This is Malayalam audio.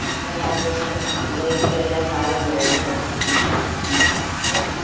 ഇപ്രാവശ്യം ഇവിടെറ്റില് എല്ലാ സാനം മേടിക്കണം